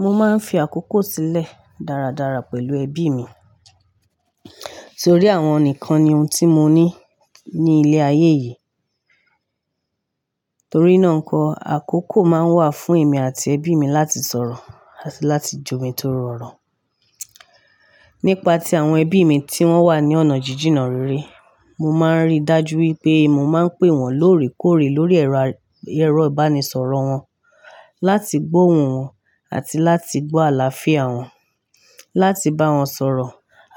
Mo máa ń fi àkókò sílẹ̀ dáradára pẹ̀lú ẹbí mi. Nítorí àwọn nìkan ni ohun tí mo ní ní ilé ayé yìí. Torí náà nkọ́, àkókò máa ń wà fún èmi àti ẹbí mi láti sọ̀rọ̀ àti láti jọ̀mi tó rọ oro. Nípa ti àwọn ẹbí mi tí wọ́n wà ní ọ̀nà jíjìnà rere, mo máa ń rí dájú wípé mo máa ń pè wọ́n lóòrèkóòrè lórí ẹ̀rọ, ẹ̀rọ ìbánisọ̀rọ̀ wọn, láti gbóhun wọn àti láti gbọ́ àlàáfíà wọn, láti bá wọn sọ̀rọ̀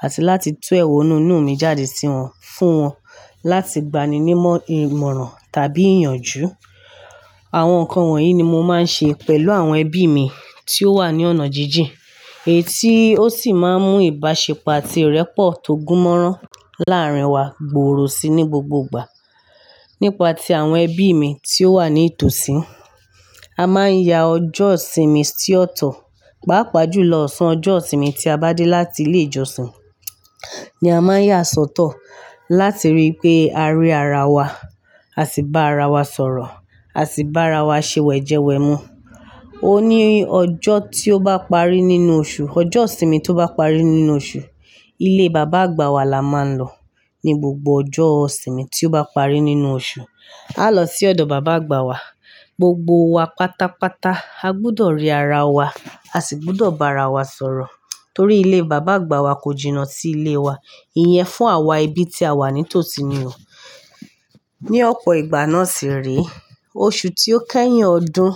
àti láti tú ẹ̀wọ̀nú inú mi jáde sí wọn, fún wọn láti gbani ní ìmọ̀ràn tàbí ìyànjú. Àwọn nǹkan wọ̀nyí ni mo máa ń ṣe pẹ̀lú àwọn ẹbí mi tí ó wà ní ọ̀nà jíjìn. Èyí tí ó sì máa ń mú ìbáṣepọ̀ àti ìrẹ́pọ̀ tó gúnmọ́rán láàárín wa gbòòrò síi ní gbogbo ìgbà. Nípa ti àwọn ẹbí mi tí ó wà ní tòsí, a máa ń ya ọjọ́ ìsinmi sí ó tọ́, pàápàá jùlọ ọ̀sán ọjọ́ ìsinmi tí a bá dé láti ilé ìjọsìn, ni a máa ń yà sọ́tọ̀ láti rí i pé a rí ara wa, a sì bá ara wa sọ̀rọ̀, a sì bá ara wa ṣe wẹ̀jẹwẹ̀mu. O ní ọjọ́ tí ó bá parí nínú oṣù, ọjọ́ ìsinmi tó bá parí nínú oṣù, ilé bàbá àgbà wa la máa ń lọ. Ni gbogbo ọjọ́ ìsinmi tí ó bá parí nínú oṣù, a lọ sí ọ̀dọ̀ bàbá àgbà wa. Gbogbo wa pátápátá a gbúdọ̀ rí ara wa, a sì gbúdọ̀ bá ara wa sọ̀rọ̀. Torí ilé bàbá àgbà wa kò jìnnà sí ilé wa. Ìyẹn fún àwa ẹbí tí a wà ní tòsí ni o. Ni ọ̀pọ̀ ìgbà náà sì re, oṣù tí ó kẹ́yìn ọdún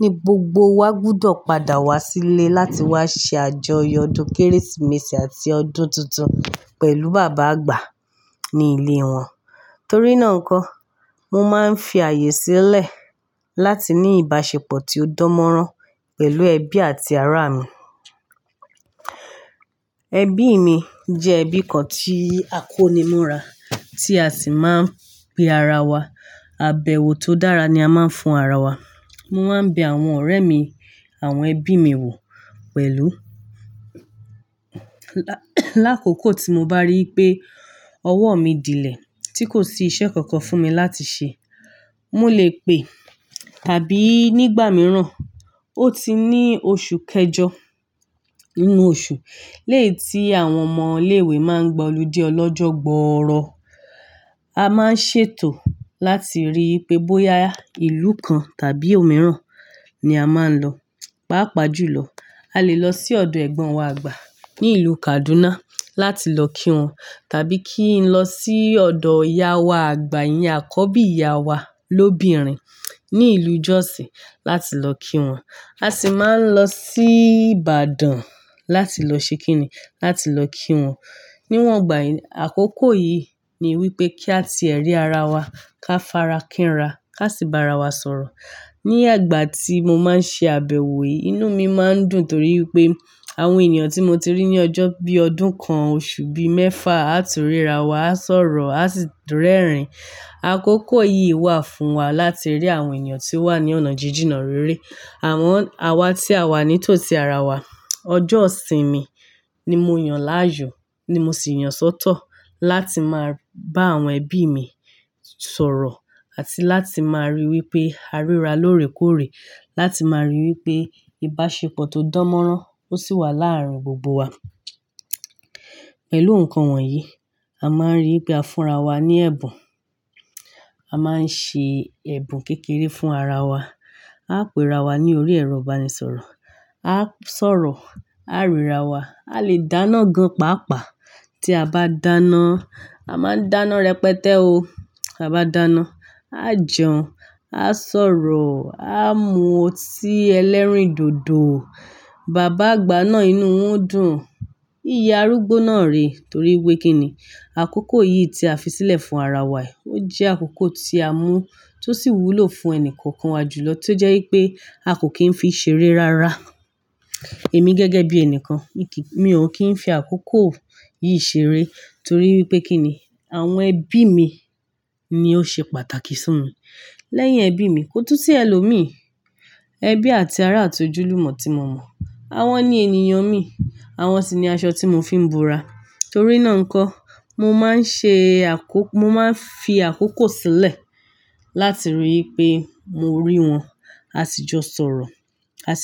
ni gbogbo wa gbúdọ̀ padà wá sílé láti wá ṣe àjọyọ̀ ọdún Kérésìmesì àti ọdún tuntun pẹ̀lú bàbá àgbà ní ilé wọn. Torí náà nkọ́, mo máa ń fi àyè sílẹ̀ láti ní ìbáṣepọ̀ tí ó dánmọ́rán pẹ̀lú ẹbí àti ará mi. Ẹbí mi jẹ́ ẹbí kan tí a kó ni ìmúra, tí a sì máa ń pe ara wa. Àbẹ̀wò tó dára ni a máa ń fún ara wa. Mo máa ń bẹ àwọn ọ̀rẹ́ mi, àwọn ẹbí mi wò pẹ̀lú. Láàkókò tí mo bá rí i pé ọwọ́ mi dílẹ̀, tí kò sí iṣẹ́ kankan fún mi láti ṣe, mo lè pè, tàbí nígbà mìíràn, ó ti ní oṣù kẹjọ nínú oṣù, léè tí àwọn ọmọ ilé ìwé máa ń gba olójú ọlọ́jọ́ gbooro. A máa ń ṣètò láti rí i pé bóyá ìlú kan tàbí òmíràn ni a máa ń lọ. Pàápàá jùlọ, a lè lọ sí ọ̀dọ̀ ẹ̀gbọ́n wa àgbà ní ìlú Kaduna láti lọ kí wọn, tàbí kí n lọ sí ọ̀dọ̀ ìyá wa àgbà, ìyá àkọ́bí ìyá wa lóbìnrin ní ìlú Jos láti lọ kí wọn. A sì máa ń lọ sí Ìbàdàn láti lọ ṣe kíni, láti lọ kí wọn. Níwọn gbà, àkókò yìí ni wípé kí á ti ẹ́ rí ara wa, ká farakínra, ká sì bá ara wa sọ̀rọ̀. Ni ìgbà tí mo máa ń ṣe àbẹ̀wò yìí, inú mi máa ń dùn torí wípé àwọn ènìyàn tí mo ti rí ní ọjọ́ bí i ọdún kan, oṣù bí i mẹ́fà, á ti ríra wa, á sọ̀rọ̀, á sì rẹ́rìn. Àkókò yìí wà fún wa láti rí àwọn ènìyàn tí ó wà ní ọ̀nà jíjìnà rere. Àwọn àwa tí a wà ní tòsí ara wa. Ọjọ́ ìsinmi ni mo yàn láàyò, ni mo sì yàn sọ́tọ̀ láti máa bá àwọn ẹbí mi sọ̀rọ̀ àti láti máa rí i wípé a ríra lóòrèkóòrè, láti máa rí i wípé ìbáṣepọ̀ tó dánmọ́rán ó sì wà láàárín gbogbo wa. Pẹ̀lú nǹkan wọ̀nyí, a máa ń rí i pé a fúnra wa ní ẹ̀bùn. A máa ń ṣe ẹ̀bùn kékeré fún ara wa. A péra wa ní orí ẹ̀rọ ìbánisọ̀rọ̀, a sọ̀rọ̀, a ríra wa. A lè dáná gan pàápàá. Tí a bá dáná, a máa ń dáná rẹpẹtẹ́ o. A bá dáná, a jẹun, a sọ̀rọ̀, a mú ọtí ẹlẹ́rìndòdò. Bàbá àgbà náà inú woń dùn. Iyá arúgbó náà rè torí wípé kí ni àkókò yìí tí a fi sílẹ̀ fún ara wa yìí, ó jẹ́ àkókò tí a mú, tó sì wúlò fún ẹni kọ̀ọ̀kan wa jùlọ tí ó jẹ́ wípé a kò kín fi ṣeré rárá. Èmi gẹ́gẹ́ bí ẹni kan, mi ò kín fi àkókò yìí ṣeré torí wípé kí ni àwọn ẹbí mi ni ó ṣe pàtàkì sí mi. Lẹ́yìn ẹbí mi, kò tú sí ẹlòmíì. Ẹbí àti ará àti ojúlùmọ̀ tí mo mọ̀. Wọ́n ni ènìyàn mi, wọ́n sì ni aṣọ tí mo fi ń búra. Torí náà nkọ́, mo máa ń ṣe àkókò, mo máa ń fi àkókò sílẹ̀ láti rí i pé mo rí wọn, a sì jọ sọ̀rọ̀, a sì.